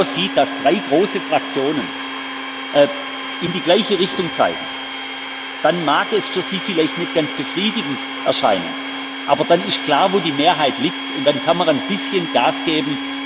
Wenn man genau sieht, dass drei große Fraktionen in die gleiche Richtung zeigen, dann mag es für Sie vielleicht nicht ganz befriedigend erscheinen, aber dann ist klar, wo die Mehrheit liegt, und dann kann man ein bisschen Gas geben.